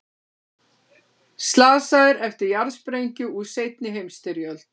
Slasaðir eftir jarðsprengju úr seinni heimsstyrjöld